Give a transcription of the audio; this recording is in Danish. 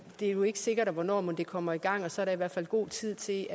er jo ikke sikkert hvornår det kommer i gang og så er der i hvert fald god tid til